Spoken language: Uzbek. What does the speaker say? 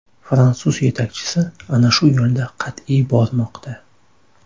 Fransuz yetakchisi ana shu yo‘lda qat’iy bormoqda”.